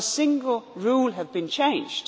Not a single rule has been changed.